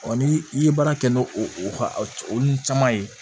ni i ye baara kɛ n'o o nun caman ye